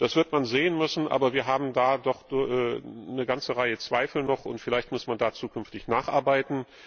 Das wird man sehen müssen, aber wir haben da doch noch eine ganze Reihe Zweifel, und vielleicht muss man da zukünftig nacharbeiten.